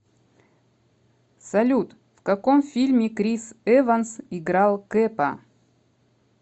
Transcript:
салют в каком фильме крис эванс играл кэпа